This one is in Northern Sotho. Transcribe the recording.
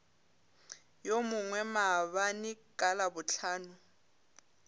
yo mongwe maabane ka labohlano